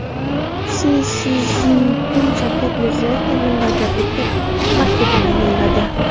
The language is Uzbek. Si Szinpin Shavkat Mirziyoyevga minnatdorlik maktubini yo‘lladi.